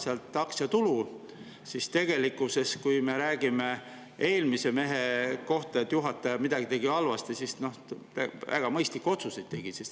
Tegelikult, et kui me räägime eelmise mehe kohta, et juhataja midagi tegi halvasti, siis väga mõistlikke otsuseid tegi.